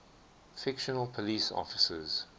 fictional police officers